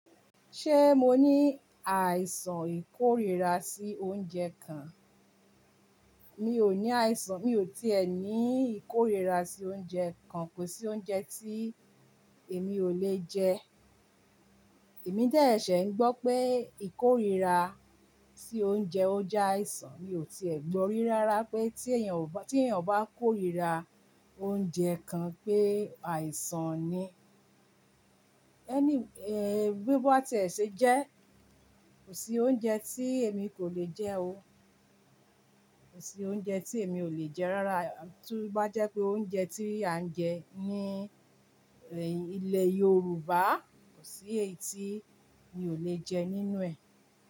Ṣé mo ní àìsàn ìkórìíra sí oúnjẹ kan? Mi ò ní àìsàn, mi ò tí è ní ìkórìíra sí oúnjẹ kan, kò sí oúnjẹ tí èmi ò le jẹ. Èmi de sẹ́sẹ́ ń gbọ́ pé ìkórìíra sí oúnjẹ óunje o je àìsàn, mi ò tí è gbọ́ rí rárá pé tí èèyàn bá, tí èèyàn bá kórìíra oúnjẹ kan pé àìsàn ni. Anyway, eh, bí bá ti è ṣe jẹ́, kò sí oúnjẹ tí èmi kò le jẹ o. Kò sí oúnjẹ tí èmi ò le jẹ rárá. To bá jẹ́ pé oúnjẹ tí à ń jẹ ní, ẹ́hn ilẹ̀ Yorùbá, kò sí èyí tí mi ò le jẹ nínú ẹ̀